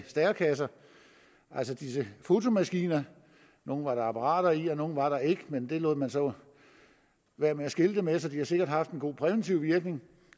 stærekasser altså disse fotomaskiner nogle var der apparater i og nogle var der ikke men det lod man så være med at skilte med så de har sikkert haft en god præventiv virkning